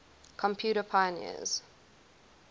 computer pioneers